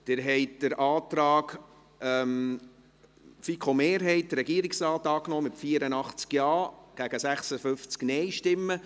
Sie haben den Antrag der FiKo-Mehrheit und des Regierungsrates angenommen, mit 84 Ja- zu 56 Nein-Stimmen.